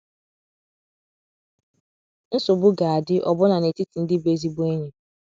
Nsogbu ga - adị ọbụna n’etiti ndị bụ ezigbo enyi.